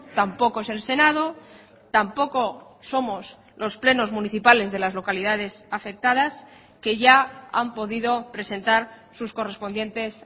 tampoco es el senado tampoco somos los plenos municipales de las localidades afectadas que ya han podido presentar sus correspondientes